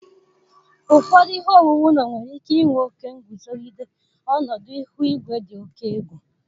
Ụfọdụ ihe owuwu ụlọ nwere ike inwe oke nguzogide ọnọdụ ihu igwe dị oke egwu.